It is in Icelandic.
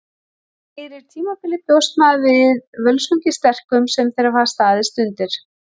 Fyrir tímabilið bjóst maður við Völsungi sterkum sem þeir hafa staðist undir.